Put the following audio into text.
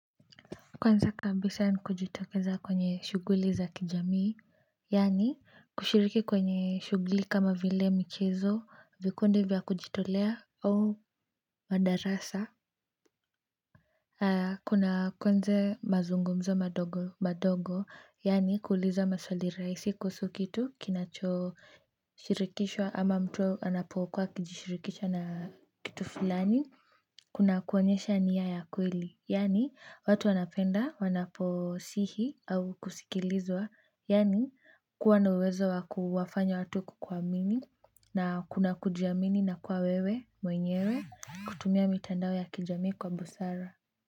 Kwanza kabisa ni kujitokeza kwenye shughuli za kijamii yaani kushiriki kwenye shughuli kama vile michezo vikundi vya kujitolea au madarasa kuna kwenza mazungumzo madogo madogo yaani kuuliza maswali rahisi kuhusu kitu kinacho shirikishwa ama mtu anapokuwa akijishirikisha na kitu fulani kuna kuonyesha nia ya kweli, yaani watu wanapenda wanaposihi au kusikilizwa, yaani kuwa na uwezo wa kuwafanya watu kukuamini, na kuna kujiamini na kuwa wewe, mwenyewe, kutumia mitandao ya kijamii kwa busara.